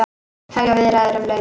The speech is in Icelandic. Hefja viðræður um launin